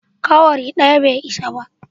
Cowry daya bai isa ba.